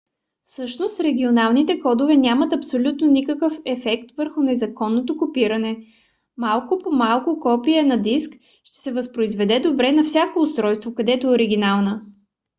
всъщност регионалните кодове нямат абсолютно никакъв ефект върху незаконното копиране; малко по малко копие на диск ще се възпроизведе добре на всяко устройство където е оригинална